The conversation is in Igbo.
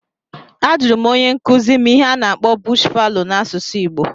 A jụrụ m onye nkuzi m ihe a na-akpọ "bush fallow" n'asụsụ igbo